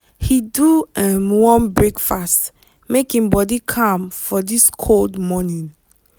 he do um warm breakfast make him body calm for this cold morning.